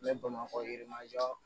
Ne bamakɔ ye yirimajɔ